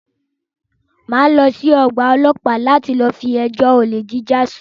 Máa lọ sí ọ̀gbà ọlọ́pàá láti lọ fi ẹjọ́ olè jíjà sùn.